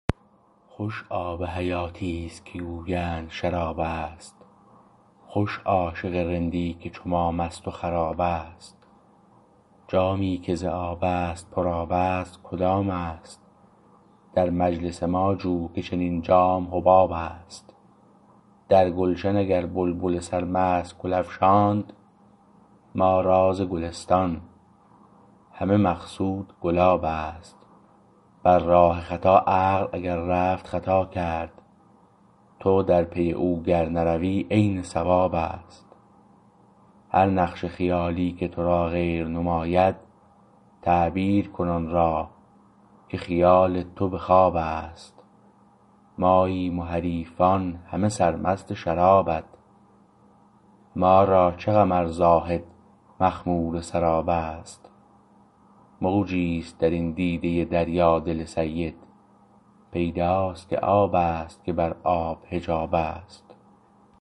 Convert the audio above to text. خوش آب حیاتیست که گویند شرابست خوش عاشق رندی که چو ما مست و خرابست جامی که ز آبست پر آبست کدامست در مجلس ما جو که چنین جام حبابست در گلشن اگر بلبل سر مست گل افشاند ما راز گلستان همه مقصود گلابست بر راه خطا عقل اگر رفت خطا کرد تو در پی او گر نروی عین صوابست هر نقش خیالی که تو را غیر نماید تعبیر کن آن را که خیال تو به خوابست ماییم و حریفان همه سرمست شرابت ما را چه غم ار زاهد مخمور سرابست موجیست درین دیده دریا دل سید پیداست که آبست که بر آب حجابست